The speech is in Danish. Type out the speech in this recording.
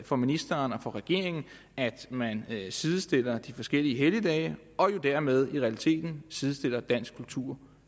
for ministeren og for regeringen at man sidestiller de forskellige helligdage og dermed i realiteten sidestiller dansk kultur